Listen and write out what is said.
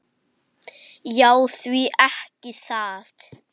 Já, því ekki það.